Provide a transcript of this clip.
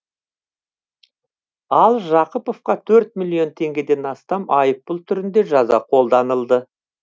ал жақыповқа төрт миллион теңгеден астам айыппұл түрінде жаза қолданылды